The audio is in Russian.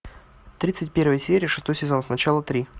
тридцать первая серия шестой сезон сначала три